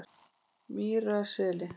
Mýrarseli